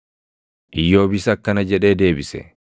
Iyyoobis akkana jedhee deebise: